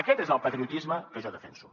aquest és el patriotisme que jo defenso